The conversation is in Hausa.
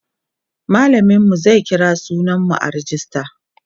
mallamin mu zai kira sunan mu a rejista